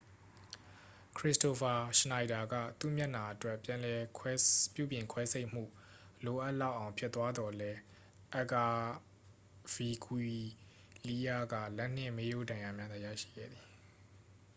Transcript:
ခရစ္စတိုဖာ ရှနိုက်ဒါက သူ့မျက်နှာအတွက် ပြန်လည်ပြုပြင်ခွဲစိတ်မှု လိုအပ်လောက်အောင် ဖြစ်သွားသော်လည်း အက်ဂါဗီဂွီးလီးယားက လက်နှင့် မေးရိုးဒဏ်ရာများသာ ရရှိခဲ့သည်